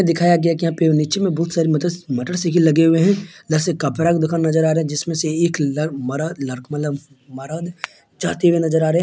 दिखाया गया है यहाँ पे नीचे में बहुत सारी मटर-मोटरसाइकिल लगे हुए है एक इधर से कपड़ा का दुकान नज़र आ रहा है जिसमे से एक लड़क -मर -मतलब मरद मर् जाते हुए नज़र आ रहे है।